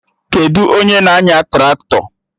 Kedụ onye na-anya Traktọ?